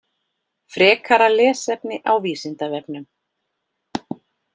Frekara lesefni á Vísindavefnum: